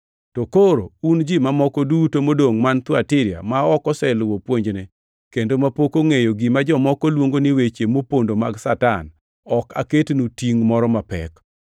To Koro un ji mamoko duto modongʼ man Thuatira ma ok oseluwo puonjne kendo mapok ongʼeyo gima jomoko luongo ni weche mopondo mag Satan, ‘Ok aketnu tingʼ moro mapek,